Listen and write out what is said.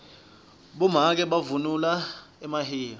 bomake bavunula emahiya